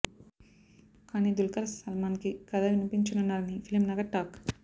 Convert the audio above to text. కానీ దుల్కర్ సల్మాన్ కి కథ వినిపించనున్నారని ఫిల్మ్ నగర్ టాక్